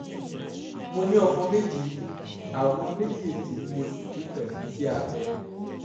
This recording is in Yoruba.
mo ní ọmọ méjì àwọn méjèèjì ni mo bí pẹ̀lú iṣẹ́ abẹ